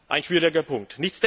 Ein schwieriger Punkt.